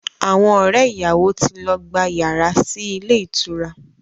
Àwọn ọ̀rẹ́ ìyàwó ti lọ gba yàrá sí ilé ìtura